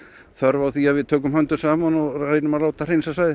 þörf á því að við tökum höndum saman og reynum að láta hreinsa svæðið